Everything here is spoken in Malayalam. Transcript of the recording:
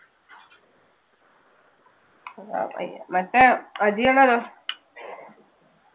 മറ്റേ അജി അണ്ണനോ.